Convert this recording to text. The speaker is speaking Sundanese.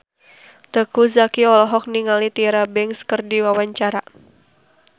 Teuku Zacky olohok ningali Tyra Banks keur diwawancara